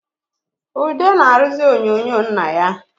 Ude na-arụzị onyonyo nna ya